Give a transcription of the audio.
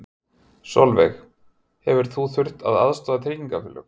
Sólveig: Hefur þú þurft að aðstoða tryggingafélög?